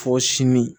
Fɔ sini